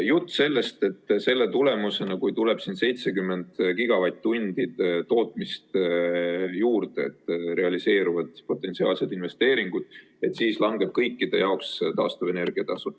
Jutt, et selle tulemusena, kui tuleb 70 gigavatt-tundi tootmist juurde, realiseeruvad potentsiaalsed investeeringud ja siis langeb kõikide jaoks taastuvenergia tasu.